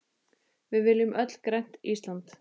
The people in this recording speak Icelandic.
Við viljum öll grænt Ísland.